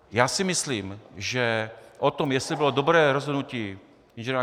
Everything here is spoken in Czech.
Já si myslím, že o tom, jestli bylo dobré rozhodnutí Ing.